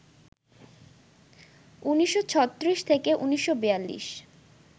১৯৩৬-১৯৪২